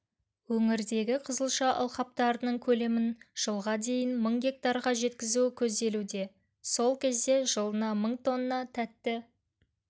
өңірдегі қызылша алқаптарының көлемін жылға дейін мың гектарға жеткізу көзделуде сол кезде жылына мың тонна тәтті